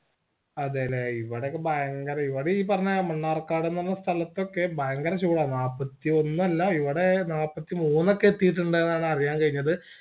അതേലെ ഇവിക്കെ ഭയങ്കര ഇവിടെ ഈ പറഞ്ഞ മണ്ണാർക്കാട് ന്ന് പറഞ്ഞ സ്ഥലത്തൊക്കെ ഭയങ്കര ചൂട നാല്പത്തിയൊന്നല്ല ഇവിടെ നാൽപത്തിമൂന്നോക്കെയെത്തീട്ടുണ്ടെന്നാ അറിയാൻ കഴിഞ്ഞത്